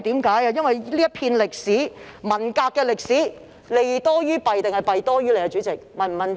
主席，這段有關文革的歷史，是"利多於弊"還是"弊多於利"呢？